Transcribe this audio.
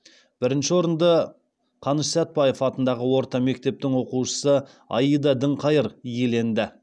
бірінші орынды қаныш сәтпаев атындағы орта мектептің оқушысы аида діңқайыр иеленді